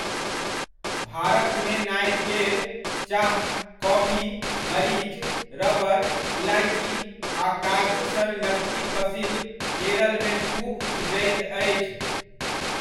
भारतमे नारिकेर, चाह, कॉफी, मरीच, रबर, इलाइची आ काजू सन नकदी फसिल केरलमे खूब उपजैत अछि।